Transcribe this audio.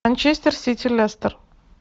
манчестер сити лестер